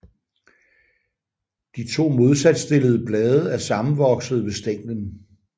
De to modsat stillede blade er sammenvoksede ved stænglen